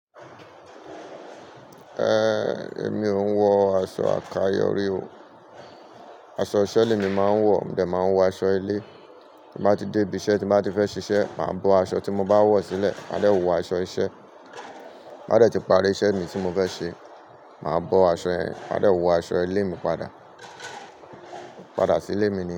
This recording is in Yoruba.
Eh, èmi ò ń wọ aṣọ àkayò rí o. Aṣọ iṣẹ́ ni emi máa ń wọ̀, mo dẹ̀ máa ń wọ aṣọ ilé. Bí bá ti dé ibi iṣẹ́ tí bá ti fẹ́ ṣiṣẹ́, màá bọ aṣọ tí mo bá wọ̀ sílẹ̀, máde wọ aṣọ iṣẹ́. Ti ba dè tí parí iṣẹ́ mi tí mo fẹ́ ṣe, màá bọ aṣọ yẹ̀n, máa de wọ aṣọ ilé mi padà. Padà sí ilé mi ni.